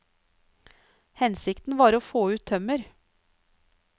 Hensikten var å få ut tømmer.